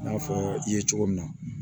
I n'a fɔ i ye cogo min na